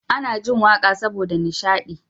Ana jin waƙa saboda nishadi